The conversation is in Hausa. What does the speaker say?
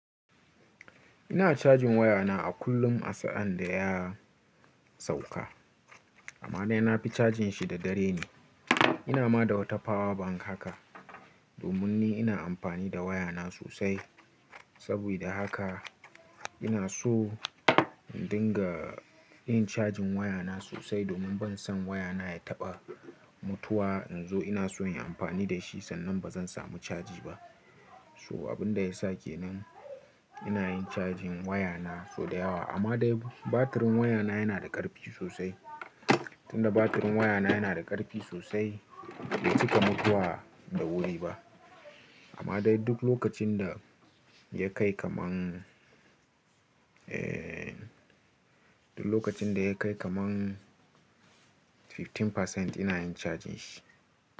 Ina cajin wayana a kullum a sa'an da ya sauka. Amma dai na fi cajin shi da dare ne. Ina ma da wata power bank haka domin ni ina amfani da wayana sosai. Saboda haka ina so in dinga yin cajin wayana sosai domin ban son wayana ya taɓa mutuwa in zo ina so in yi amfani da shi sannan ba zan samu caji ba. So abin da ya sa kenan ina yin cajin wayana sau da yawa. Amma dai batirin wayana yana da ƙarfi sosai. Tunda batirin wayana yana da ƙarfi sosai bai cika mutuwa da wuri ba. Amma dai duk lokacin da ya kai kamar, eh, duk lokacin da ya kai kamar kashi goma sha biyar ina yin cajin shi.